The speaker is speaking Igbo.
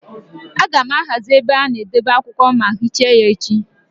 A ga-ahazi ebe a na-edebe akwụkwọ ma hichaa ya echi.